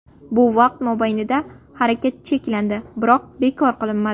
Bu vaqt mobaynida harakat cheklandi, biroq bekor qilinmadi.